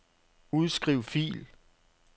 Udskriv fil.